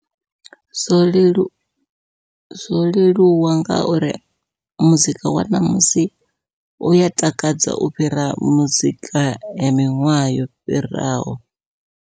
Zwo leluwa zwo leluwa ngauri muzika wa ṋamusi uya takadza u fhira muzika ya miṅwaha yo fhiraho.